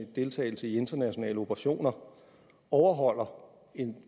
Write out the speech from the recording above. deltagelse i internationale operationer overholder